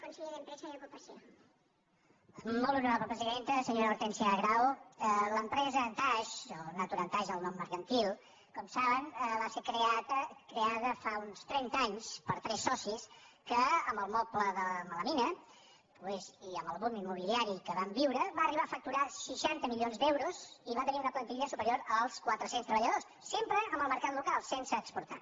senyora hortènsia grau l’empresa antaix o naturantaix el nom mercantil com saben va ser creada fa uns trenta anys per tres so·cis que amb el moble de melamina i amb el bum im·mobiliari que vam viure va arribar a facturar seixanta milions d’euros i va tenir una plantilla superior als quatre·cents treballadors sempre en el mercat local sense exportar